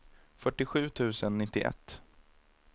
fyrtiosju tusen nittioett